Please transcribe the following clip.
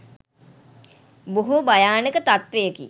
බොහෝ භයානක තත්ත්වයකි